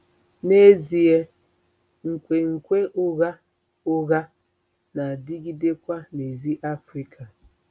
N'ezie, nkwenkwe ụgha ụgha na-adịgidekwa n'èzí Africa.